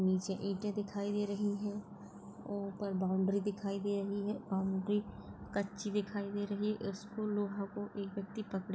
नीचे ईटे दिखाई दे रही है ऊपर बाउंड्री दिखाई दे रही है बाउंड्री कच्ची दिखाई दे रही है। इसको लोहा को एक व्यक्ति पकडे--